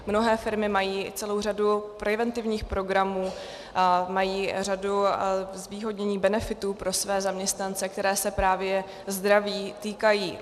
Mnohé firmy mají celou řadu preventivních programů, mají řadu zvýhodnění, benefitů pro své zaměstnance, které se právě zdraví týkají.